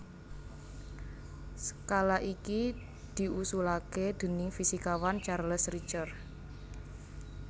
Skala iki diusulaké déning fisikawan Charles Richter